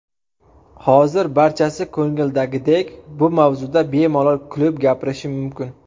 Hozir barchasi ko‘ngildagidek, bu mavzuda bemalol kulib gapirishim mumkin.